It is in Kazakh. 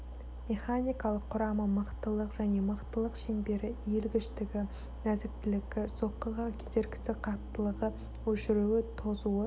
механикалық құрамы мықтылық және мықтылық шеңбері иілгіштігі нәзіктілігі соққыға кедергісі қаттылығы өшіруі тозуы